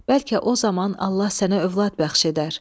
Bəlkə o zaman Allah sənə övlad bəxş edər.